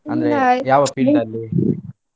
ಅಂದ್ರೆ ಯಾವ field ಅಲ್ಲಿ.